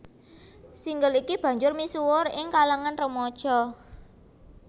Single iki banjur misuwur ing kalangan remaja